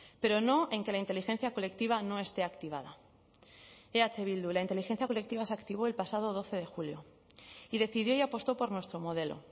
pero no en que la inteligencia colectiva no esté activada eh bildu la inteligencia colectiva se activó el pasado doce de julio y decidió y apostó por nuestro modelo